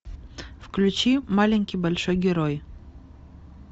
включи маленький большой герой